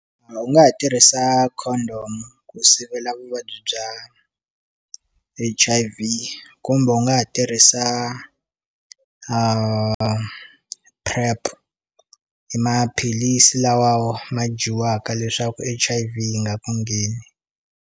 U nga ha tirhisa condom ku sivela vuvabyi bya H_I_V kumbe u nga ha tirhisa PrEP i maphilisi lawa ma dyiwaka leswaku H_I_V yi nga ku ngheni.